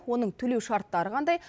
оның төлеу шарттары қандай